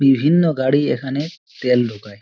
বিভিন্ন গাড়ি এখানে তেল ঢোকায়।